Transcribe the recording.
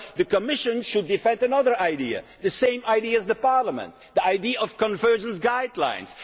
The Commission should defend another idea, the same idea as Parliament, the idea of convergence guidelines.